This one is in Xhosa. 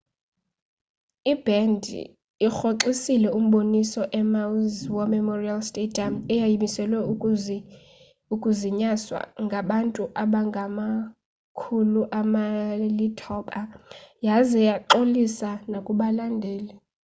ibhendi irhoxisile umboniso emaui's war memorial stadium eyayimiselwe ukuzinyaswa ngabantu abangama-9,000 yaza yaxolisa nakubalandeli